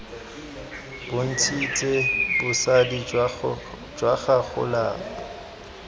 bontshitse bosadi jwa gago lapa